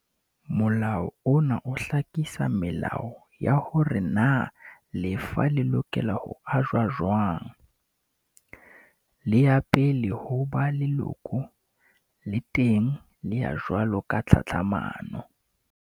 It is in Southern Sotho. Molao ona o hlakisa melao ya hore na lefa le lokela ho ajwa jwang. Le ya pele ho ba lekolo, le teng le ya jwalo ka tlhatlhamano.